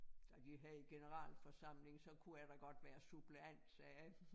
Ej de havde generalforsamling så kunne jeg da godt være suppleant sagde jeg